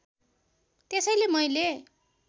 त्यसैले मैले